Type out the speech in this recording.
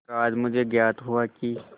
पर आज मुझे ज्ञात हुआ कि